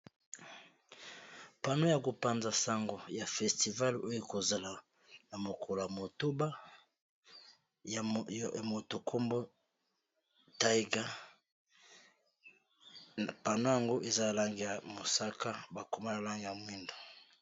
pano ya kopanza sango ya festivale oyo kozala na mokolo ya motoba ya motokombo taiga pano yango eza langi ya mosaka bakoma la langi ya mwindo